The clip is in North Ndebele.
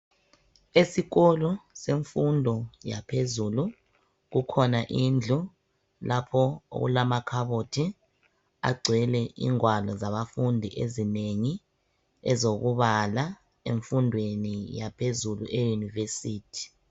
Esikolo semfundo yaphezulu kukhona indlu lapho okulamakhabothi agcwele ingwalo zabafundi ezinengi ezokubala emfundweni yaphezulu eyunivesithi.